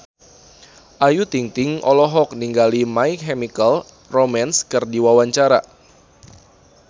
Ayu Ting-ting olohok ningali My Chemical Romance keur diwawancara